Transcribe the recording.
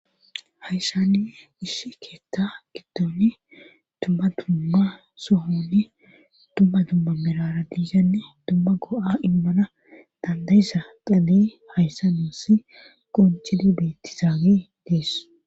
Hayssaninne gish keethta giddoni dumma dumma sohonni dumma dumma mirara diishanni dumma go'a immana dandayisa qale hayssa nuussi qoncidi beettizaagi dies